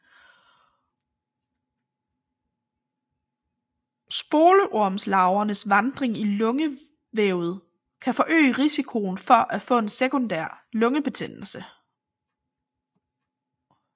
Spolormelarvernes vandring i lungevævet kan forøge risikoen for at få en sekundær lungebetændelse